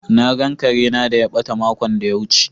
Na gan Kare na da ya bata makon da ya wuce.